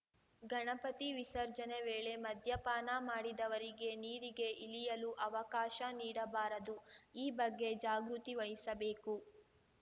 ಗಣಪತಿ ವಿಸರ್ಜನೆ ವೇಳೆ ಮದ್ಯಪಾನ ಮಾಡಿದವರಿಗೆ ನೀರಿಗೆ ಇಳಿಯಲು ಅವಕಾಶ ನೀಡಬಾರದು ಈ ಬಗ್ಗೆ ಜಾಗೃತಿ ವಹಿಸಬೇಕು